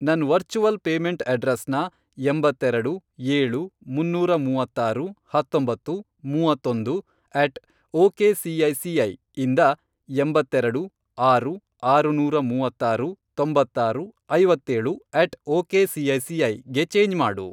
ನನ್ virtual payment ಅಡ್ರೆಸ್ನ, ಎಂಬತ್ತೆರೆಡು, ಏಳು, ಮುನ್ನೂರ ಮೂವತ್ತಾರು, ಹತ್ತೊಂಬತ್ತು, ಮೂವತ್ತೊಂದು, ಅಟ್ ಒಕೆಸಿಐಸಿಐ ಇಂದ, ಎಂಬತ್ತೆರೆಡು, ಆರು, ಆರುನೂರ ಮೂವತ್ತಾರು, ತೊಂಬತ್ತಾರು, ಐವತ್ತೇಳು, ಅಟ್ ಒಕೆಸಿಐಸಿಐ ಗೆ ಚೇಂಜ್ ಮಾಡು.